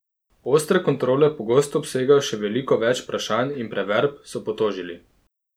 Ostre kontrole pogosto obsegajo še veliko več vprašanj in preverb, so potožili.